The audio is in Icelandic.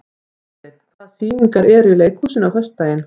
Friðsteinn, hvaða sýningar eru í leikhúsinu á föstudaginn?